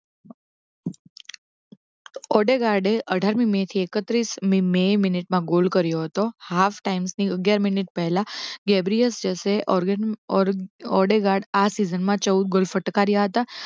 ઓડેગાડે અઠાર મી મે થી એક્ત્રીશ મેં મિનિટમાં ગોલ કર્યો હતો half time ની અગિયાર મિનિટ પહેલા ગેબરિયસ જેસે ઓ ઓડેગાડ આ season માં ચૌદ ગોલ ફટકાર્યા હતા